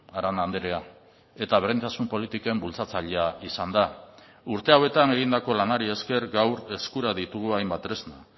arana andrea eta berdintasun politiken bultzatzailea izan da urte hauetan egindako lanari esker gaur eskura ditugu hainbat tresna